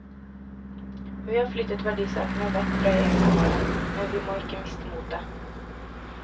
Vi har flyttet verdisaker vekk fra hjemmene våre, men vi må ikke miste motet.